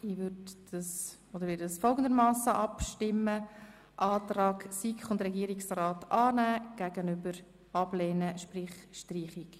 Wir werden so abstimmen, dass wir den Antrag SiK und Regierungsrat demjenigen der Streichung gegenüberstellen.